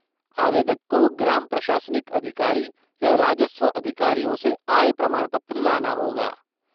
आवेदक को ग्राम प्रशासनिक अधिकारी या राजस्व अधिकारियों से आय प्रमाण पत्र लाना होगा।